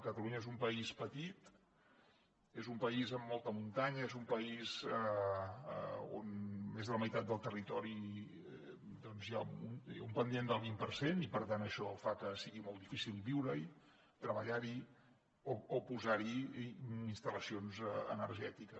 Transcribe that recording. catalunya és un país petit és un país amb molta muntanya és un país on més de la meitat del territori té un pendent del vint per cent i per tant això fa que sigui molt difícil viure hi treballar hi o posar hi instal·lacions energètiques